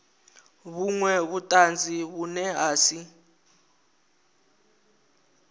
vhunwe vhutanzi vhune ha si